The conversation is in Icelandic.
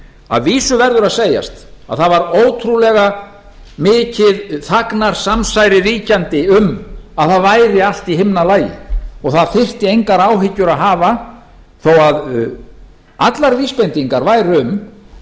að vísu verður að segjast að það var ótrúlega mikið þagnarsamsæri ríkjandi um að það væri allt í himnalagi og það þyrfti engar áhyggjur að hafa þó að allar vísbendingar væru um